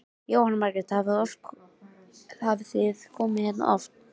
Jóhanna Margrét: Hafið þið komið hérna oft?